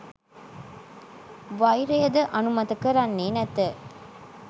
වෛරයද අනුමත කරන්නේ නැත